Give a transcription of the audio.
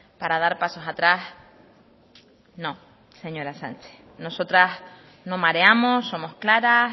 para dar pasos atrás no señora sánchez nosotras no mareamos somos claras